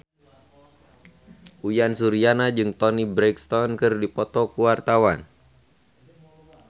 Uyan Suryana jeung Toni Brexton keur dipoto ku wartawan